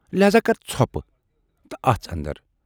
لٮ۪ہذا کر ژھۅپہٕ تہٕ اَژھ اندر۔